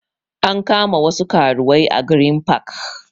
An kama wasu karuwai a green park